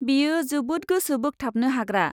बेयो जोबोद गोसो बोगथाबनो हाग्रा।